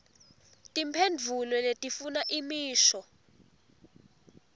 timphendvulo letifuna imisho